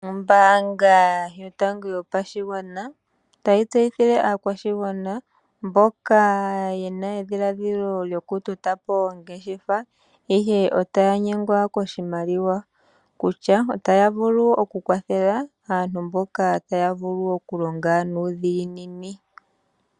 Ombaanga yotango yopashigwana otayi tseyithile aakwashigwana mboka ye na edhiladhilo lyokutota po oongeshefa, ihe otaya nyengwa koshimaliwa kutya otaya vulu okukwathela aantu mboka taya vulu okulonga nuudhiginini.